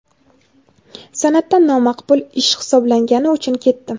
san’atdan nomaqbul ish hisoblangani uchun ketdim.